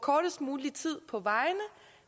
kortest mulig tid på vejene